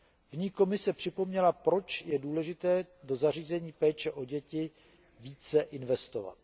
V ní Komise připomněla, proč je důležité do zařízení péče o děti více investovat.